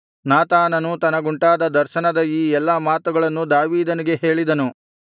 ನಾತಾನನು ತನಗುಂಟಾದ ದರ್ಶನದ ಈ ಎಲ್ಲಾ ಮಾತುಗಳನ್ನು ದಾವೀದನಿಗೆ ಹೇಳಿದನು